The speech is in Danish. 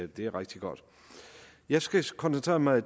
det er rigtig godt jeg skal koncentrere mig